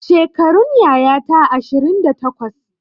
Shekarun yayata ashirin da takwas